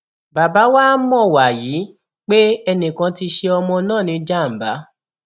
bàbá wàá mọ wàyí pé ẹnìkan ti ṣẹ ọmọ náà níjàǹbá